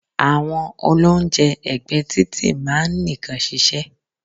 Àwọn olóúnjẹ ẹ̀gbẹ́ẹ títì máa ń nìkan ṣiṣẹ́.